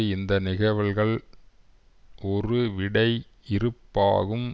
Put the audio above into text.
இந்த நிகவுழ்கள் ஒரு விடையிறுப்பாகும்